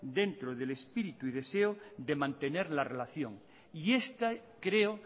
dentro del espíritu y deseo de mantener la relación y este creo